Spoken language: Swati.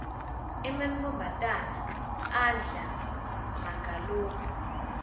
emantfombatana adlala magalophu